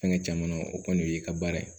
Fɛnkɛ caman na o kɔni y'i ka baara ye